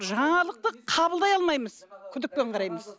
жаңалықты қабылдай алмаймыз күдікпен қараймыз